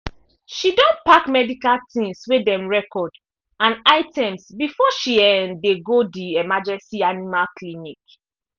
she don pack medical tins wey dem record and items before she um dey go the emergency animal clinic